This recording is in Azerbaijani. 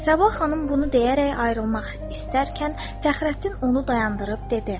Səbah xanım bunu deyərək ayrılmaq istərkən Fəxrəddin onu dayandırıb dedi.